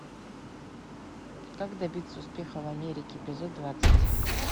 как добиться успеха в америке эпизод двадцать